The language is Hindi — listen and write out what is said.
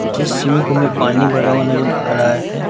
जिस स्विमिंग पूल में पानी भरा हुआ नजर आ रहा है।